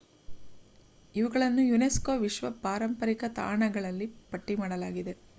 ಇವುಗಳನ್ನು ಯುನೆಸ್ಕೋ ವಿಶ್ವ ಪಾರಂಪರಿಕ ತಾಣದಲ್ಲಿ ಪಟ್ಟಿ ಮಾಡಲಾಗಿದೆ